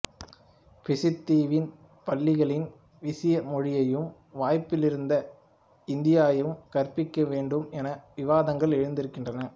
பிசித் தீவின் பள்ளிகளில் விசிய மொழியையும் வாய்ப்பிருந்தால் இந்தியையும் கற்பிக்க வேண்டும் என விவாதங்கள் எழுந்திருக்கின்றன